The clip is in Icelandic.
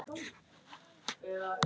Það hefði flykkst til